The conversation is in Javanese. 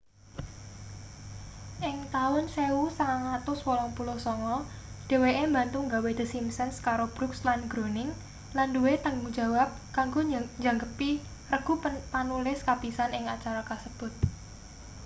ing taun 1989 dheweke mbantu nggawe the simpsons karo brooks lan groening lan nduwe tanggung jawab kanggo njangkepi regu panulis kapisan ing acara kasebut